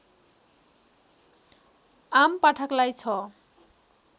आमपाठकलाई छ